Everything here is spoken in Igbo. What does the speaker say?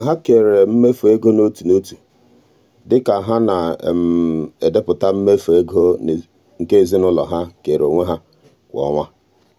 ha kere mmefu ego n'otu n'otu dị ka ha na-edepụta mmefu ego nke ezinụụlọ ha keere onwe ha kwa ọnwa.